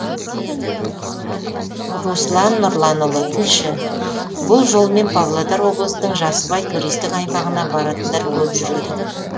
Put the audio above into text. руслан нұрланұлы тілші бұл жолмен павлодар облысының жасыбай туристік аймағына баратындар көп жүреді